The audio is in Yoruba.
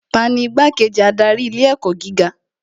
Tani Igbá-kejì adarí ilé ẹ̀kọ́ gíga